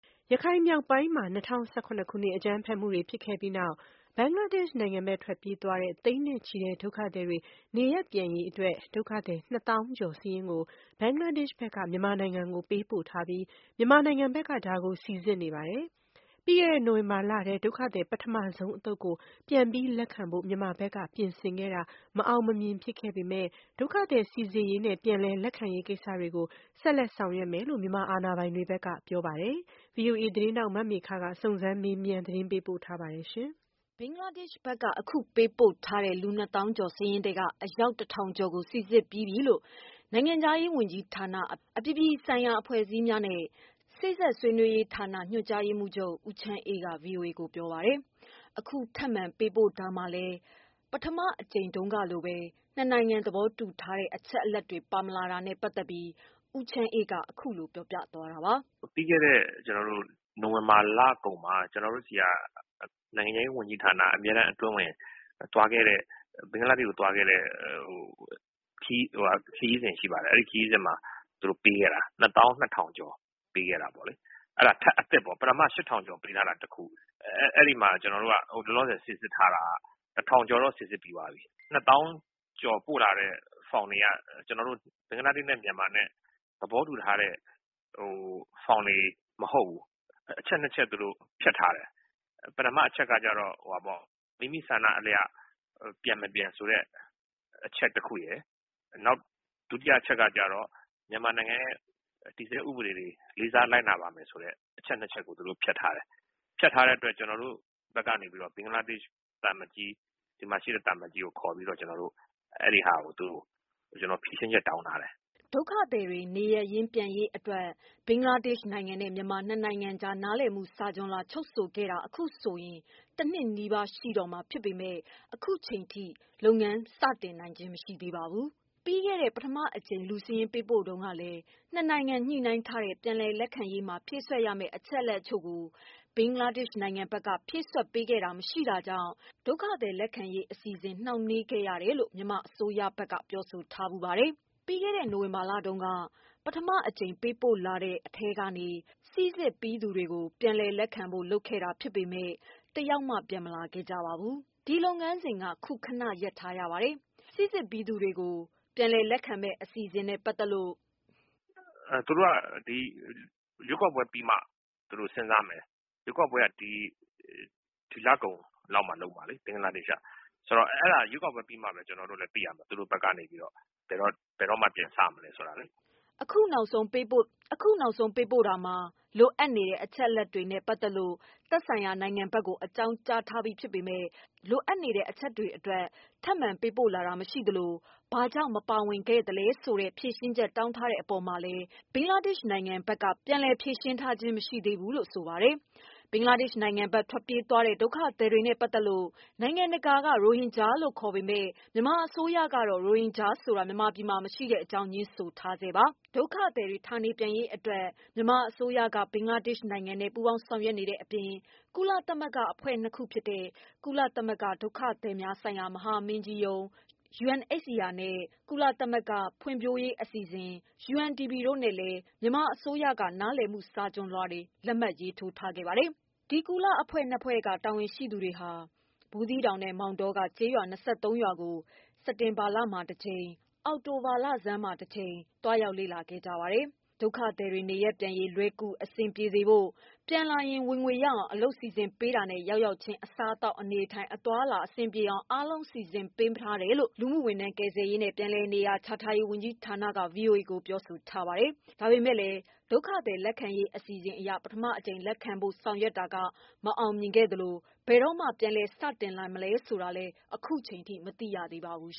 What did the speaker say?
ရခိုင်မြောက်ပိုင်းမှာ ၂၀၁၇ ခုနှစ် အကြမ်းဖက်မှုတွေဖြစ်ခဲ့ပြီးနောက် ဘင်္ဂလားဒေ့ရ်ှနိုင်ငံ ဘက် ထွက်ပြေးသွားတဲ့ သိန်းနဲ့ချီဒုက္ခသည်တွေ နေရပ်ပြန်ရေးအတွက် ဒုက္ခသည် ၂ သောင်းကျော် စာရင်းကို ဘင်္ဂလားဒေ့ရ်ှ ဖက်က မြန်မာနိုင်ငံကို ပေးပို့ ထားပြီး မြန်မာနိုင်ငံ ဖက်ကဒါကို စီစစ်နေပါတယ်။ ပြီးခဲ့တဲ့ နိုဝင်ဘာလထဲ ဒုက္ခသည် ပထမဆုံး အသုတ်ကို ပြန်လည် လက်ခံဖို့ မြန်မာဖက်က ပြင်ဆင်ခဲ့တာ မအောင် မမြင်ဖြစ်ခဲ့ပေမယ့်၊ ဒုက္ခသည်စီစစ်ရေးနဲ့ ပြန်လည် လက်ခံရေးကိစ္စတွေကို ဆက်ဆောင်ရွက်မယ်လို့ မြန်မာအာဏာပိုင်တွေဖက်ကတော့ ပြောထားပါတယ်။ ဗွီအိုအေ သတင်းထောက် မမေခ စုံစမ်း မေးမြန်း သတင်းပေးပို့ထားပါတယ်။ ဘင်္ဂလားဒေ့ရှ်ဘက်က အခုပေးပို့ထားတဲ့ လူ ၂ သောင်းကျော် စာရင်းထဲက အယောက် ၁၀၀၀ ကျော်ကို စိစစ်ပြီးပြီလို့ နိုင်ငံခြားရေးဝန်ကြီးဌာန၊ အပြည်ပြည်ဆိုင်ရာ အဖွဲ့အစည်းများနဲ့ စေ့စပ်ဆွေးနွေးရေးဌာန ညွှန်ကြားရေးမှုးချုပ် ဦးချမ်းအေးက ဗွီအိုအေကိုပြောပါတယ်။ အခုထပ်မံပေးပို့တာမှာလည်း ပထမအကြိမ်တုန်းကလိုပဲ နှစ်နိုင်ငံ သဘောတူထားတဲ့အချက်တွေ ပါမလာတာနဲ့ ပတ်သက်ပြီး ဦးချမ်းအေးက အခုလိုပြောပါတယ်။ "ပြီးခဲ့တဲ့ နိုဝင်ဘာလကုန်က အမြဲတမ်းအတွင်းဝန်သွားခဲ့တဲ့ ခရီးစဉ်မှာ ဒီအချက်အလက် တွေကိုပေးခဲ့တာပါ။ ၂သောင်း ၂ထောင်ပေးခဲ့တာ။ ဒါကနောက်ပေးခဲ့တာ။ ပထမဆုံးဟိုးအရင်က ၈၀၀၀ကျော်က တခုပေးထားတာ ခုကနောက်ထပ်အသစ် ၂သောင်း၂ထောင်ကျော်ထပ်ပေးတာ။ အဲမှာ ကျနော်တို့ဘက်က ၁၀၀၀ကျော်လောက်ကို စိစစ်ထားတယ်။ သူတို့ပို့လာတဲ့ ၂သောင်းကျော်မှာ ကျနော်တို့နှစ်နိုင်ငံသဘောတူတုန်းက လက်ခံထားတဲ့ ဖောင်တွေမဟုတ်ဘူး။ အချက် ၂ချက်ဖြတ်ထားတယ်။ ပထမက မိမိသဘောဆန္ဒ အလျောက်ပြန်လာတာဖြစ်ကြောင်းနဲ့ ပြန်ရောက်လာရင် ဒီမြန်မာနိုင်ငံ တည်ဆဲဥပဒေကို လိုက်နာမယ်ဆိုတဲ့ အချက်မပါဘူး။ မပါတဲ့ဟာကို ဒီနိုင်ငံက ဘင်္ဂလားဒေရှ်သံအမတ် ကို ဖြေရှင်းချက်တောင်းထားတယ်" ဒုက္ခသည် နေရပ်ရင်း ပြန်ရေးအတွက် ဘင်္ဂလားဒေ့ရှ်နဲ့ မြန်မာ ၂ နိုင်ငံကြား နားလည်မှုစာချွန်လွှာ ချုုပ်ဆိုခဲ့တာ အခုဆို တနှစ်နီးပါး ရှိတော့မှာဖြစ်ပေမယ့် ခုချိန်ထိ မစနိုင်သေးပါဘူး။ ပြီးခဲ့တဲ့ ပထမအကြိမ် ပေးပို့တုန်းကလည်း ၂ နိုင်ငံ ညှိုနှိုင်းထားတဲ့ ပြန်လက်ခံရေးမှာ ဖြည့် စွက်ရမယ့် အချက်အလက် တချို့ကို ဘင်္ဂလားဒေရှ့်ဘက်က ဖြည့်စွက်ပေးခဲ့တာမရှိ တာကြောင့် ဒုက္ခသည် လက်ခံရေး အစီအစဉ် နှောင့်နှေးနေ တယ်ဆိုပြီး မြန်မာအစိုးရဘက်က ပြောဆိုထားဖူးပါတယ်။ ပြီးခဲ့တဲ့လတုန်းက ပထမအကြိမ် ပေးပို့လာတဲ့ အထဲက စိစစ်ပြီးသူတွေကို ပြန်လက်ခံဖို့ လုပ်ခဲ့ပေမယ့် တယောက်မှ ပြန်မလာခဲ့ပါဘူး။ ဒီလုပ်ငန်းစဉ်က ခုခဏရပ်ထားရပါတယ်။ ပထမအကြိမ် စိစစ်ပြီးသူတွေကို ပြန်လည်လက်ခံမယ့် အစီအစဉ်နဲ့ ပတ်သက်လို့ ဦးချမ်းအေးက "သူတို့ဘက်က ရွေးကောက်ပွဲ ပြီးမှ ပြန်စမယ်ပြောထားတယ်။ ရွေးကောက်ပွဲက ဒီလ ကုန်လုပ်မှာ။ သူတို့ရွေးကောက်ပွဲပြီးမှ ဘဲသိရမယ်" အခုနောက်ဆုံးပေးပို့တာမှာ လိုအပ်နေတဲ့ အချက်တွေနဲ့ ပတ်သတ်လို့ သက်ဆိုင်ရာ နိုင်ငံဘက်ကို အကြောင်းကြားထားပြီးဖြစ်ပေမယ့် လိုအပ်နေတဲ့ အချက်တွေအတွက် ထပ်မံပေးပို့လာတာမရှိသလို ဘာကြောင့် မပါဝင်ခဲ့တာလဲ ဆိုတဲ့ ဖြေရှင်းချက်တောင်း ထားတဲ့ အပေါ်မှာလည်း ဘင်္ဂလားဒေရှ့် ဘက်က ပြန်ပြောထားခြင်းမရှိသေးဘူးလို့ ဆိုပါတယ်။ ဘင်္ဂလားဒေ့ရှ်နိုင်ငံဘက် ထွက်ပြေးသွားတဲ့ ဒုက္ခသည်တွေနဲ့ ပတ်သက်ပြီး နိုင်ငံတကာက ရိုဟင်ဂျာလို့ ခေါ်ပေမယ့် မြန်မာအစိုးရကတော့ ရိုဟင်ဂျာဆိုတာ မြန်မာပြည်မှာ မရှိတဲ့ အကြောင်း ငြင်းဆိုထားပါတယ်။ ဒုက္ခသည်တွေ ဌာနေပြန်နိုင်ရေးအတွက် မြန်မာအစိုးရက ဘင်္ဂလားဒေ့ရှ်နဲ့ ပူးပေါင်း ဆောင်ရွက်နေတဲ့အပြင် ကုလသမဂ္ဂအဖွဲ့ ၂ ခုဖြစ်တဲ့ ကုလသမဂ္ဂ ဒုက္ခသည်များဆိုင်ရာ မဟာမင်းကြီးရုံးး UNHCR နဲ့ ကုလသမဂ္ဂ ဖွံ့ဖြိုးရေးအစီအစဉ် UNDP တို့နဲ့လည်း မြန်မာအစိုးရ က နားလည်မှုစာချွန်လွှာ လက်မှတ်ရေးထိုးထားပါတယ်။ ဒီ ကုလအဖွဲ့ ၂ ဖွဲ့က တာဝန်ရှိသူတွေဟာ ဘူးသီးတောင်နဲ့ မောင်တောက ကျေးရွာ ရွာကို စက်တင်ဘာလမှာ တကြိမ်၊ အောက်တိုဘာလဆန်းမှာ တကြိမ် သွားရောက် လေ့လာ ခဲ့ကြပါတယ်။ ဒုက္ခသည်တွေနေရပ် ပြန်ရေး လွယ်ကူအဆင်ပြေစေဖို့၊ ပြန်လာရင် ဝင်ငွေရအောင် အလုပ်စီစဉ် ပေးတာနဲ့ ရောက်ရောက်ချင်း အစားအသောက် အနေအထိုင် အသွားအလာ အဆင်ပြေအောင် အားလုံး အသင့်စီစဉ်ထားတယ်လို့ လူမှုဝန်ထမ်း၊ ကယ်ဆယ်ရေးနဲ့ ပြန်လည်နေရာ ချထားရေး ဝန်ကြီးဌာနက VOA ကို ပြောဆိုထားပါတယ်။ ဒါပေမယ့်လည်း ဒုက္ခသည် လက်ခံရေးအစီအစဉ် အရ ပထမအကြိမ် လက်ခံဖို့ ဆောင်ရွက်တာက မအောင်မြင်ခဲ့သလို ဘယ်တော့ပြန်စ တင်နိုင်မလဲဆိုတာ မသိရသေးပါဘူး